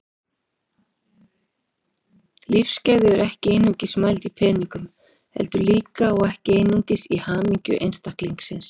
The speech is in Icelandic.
Lífsgæði eru ekki einungis mæld í peningum heldur líka, og ekki síst, í hamingju einstaklingsins.